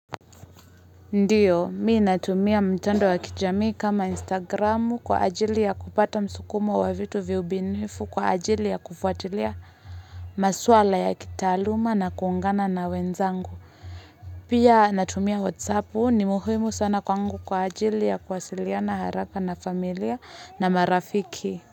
Ndiyo, mimi natumia mtandoa kijamii kama instagramu kwa ajili ya kupata msukumo wa vitu vya ubinifu kwa ajili ya kufuatilia maswala ya kitaaluma na kuungana na wenzangu Pia natumia WhatsAppu, ni muhumu sana kwangu kwa ajili ya kwasiliya haraka na familia na marafiki.